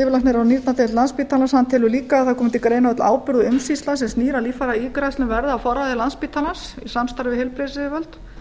yfirlæknir á nýrnadeild landspítalans telur líka að það komi til greina öll ábyrgð og umsýsla sem snýr að líffæraígræðslum verði á forræði landspítalans í samstarfi við heilbrigðisyfirvöld